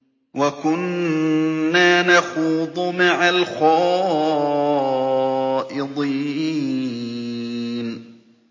وَكُنَّا نَخُوضُ مَعَ الْخَائِضِينَ